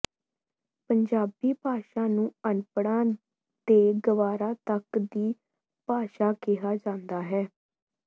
ਪੰਜਾਬੀ ਭਾਸ਼ਾ ਨੂੰ ਅਨਪੜ੍ਹਾਂ ਤੇ ਗਵਾਰਾਂ ਤਕ ਦੀ ਭਾਸ਼ਾ ਕਿਹਾ ਜਾਂਦਾ ਹੈ